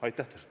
Aitäh!